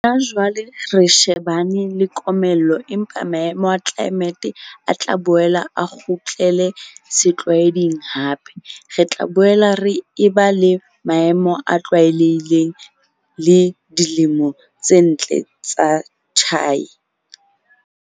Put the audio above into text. Hona jwale re shebane le komello empa maemo a tlelaemete a tla boela a kgutlele setlwaeding hape. Re tla boela re eba le maemo a tlwaelehileng le dilemo tse ntle tsa tjhai.